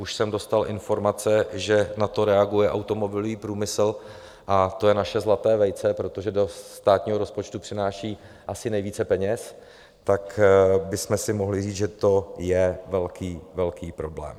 Už jsem dostal informace, že na to reaguje automobilový průmysl, a to je naše zlaté vejce, protože do státního rozpočtu přináší asi nejvíce peněz, tak bychom si mohli říct, že to je velký, velký problém.